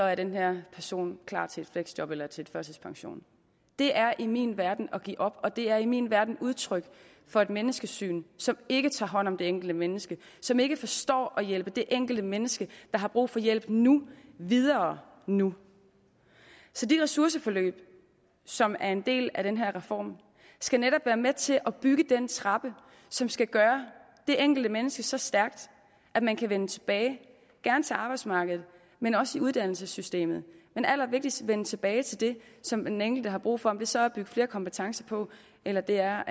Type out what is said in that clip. er den her person klar til et fleksjob eller til en førtidspension det er i min verden at give op og det er i min verden udtryk for et menneskesyn som ikke tager hånd om det enkelte menneske som ikke forstår at hjælpe det enkelte menneske der har brug for hjælp nu videre nu så de ressourceforløb som er en del af den her reform skal netop være med til at bygge den trappe som skal gøre det enkelte menneske så stærkt at man kan vende tilbage gerne til arbejdsmarkedet men også i uddannelsessystemet men allervigtigst vende tilbage til det som den enkelte har brug for om det så er at bygge flere kompetencer på eller det er